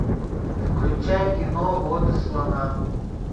включай кино воды слонам